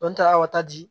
Dɔn ta o ta di